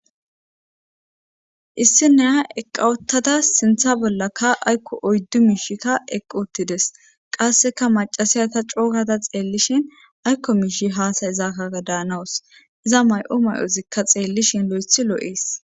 Issineha eqqawottada sintha bollaka aykko oyddu miishikka eqqu uttides qasseka macasiya ta cookada xeellishin aykko miishi haasayezaakaa daanawus iza may7o may7ozikka xeellishin lo7ethi loo7ees